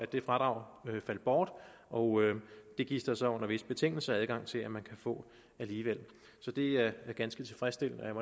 det fradrag faldt bort og det gives der så under visse betingelser adgang til at man kan få alligevel så det er ganske tilfredsstillende